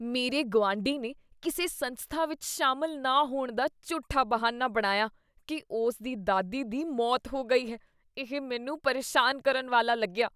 ਮੇਰੇ ਗੁਆਂਢੀ ਨੇ ਕਿਸੇ ਸੰਸਥਾ ਵਿੱਚ ਸ਼ਾਮਲ ਨਾ ਹੋਣ ਦਾ ਝੂਠਾ ਬਹਾਨਾ ਬਣਾਇਆ ਕੀ ਉਸ ਦੀ ਦਾਦੀ ਦੀ ਮੌਤ ਹੋ ਗਈ ਸੀ, ਇਹ ਮੈਨੂੰ ਪਰੇਸ਼ਾਨ ਕਰਨ ਵਾਲਾ ਲੱਗਿਆ।